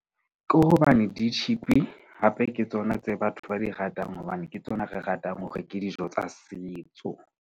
Ke hobane di-cheap-i hape ke tsona tse batho ba di ratang, hobane ke tsona tse ratang hore ke dijo tsa setso.